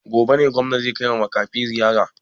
Gobe ne gwamna zai kaiwa makafi ziyara?